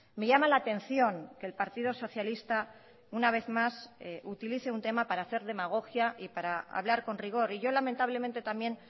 me llama la atención que el partido socialista una vez más utilice un tema para hacer demagogia y para hablar con rigor y yo lamentablemente también